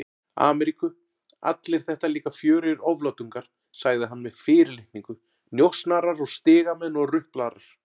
Ameríku, allir þetta líka fjörugir oflátungar, sagði hann með fyrirlitningu, njósnarar og stigamenn og ruplarar.